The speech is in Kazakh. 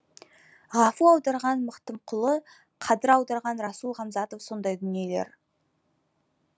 ғафу аударған мақтымқұлы қадыр аударған расул ғамзатов сондай дүниелер